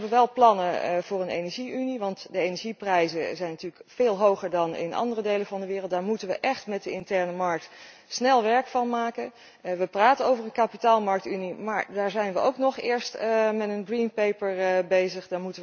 We hebben wel plannen voor een energie unie, want de energieprijzen zijn natuurlijk veel hoger dan in andere delen van de wereld. Daar moeten we echt met de interne markt snel werk van maken. We praten over een kapitaalmarkentunie, maar daar zijn we nog eerst met een groenboek bezig.